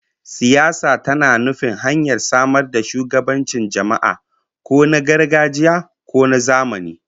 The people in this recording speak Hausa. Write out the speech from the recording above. Siyasa tana nufin hanyar samar da shugabancin jama'a, ko na gargajiya ko na zamani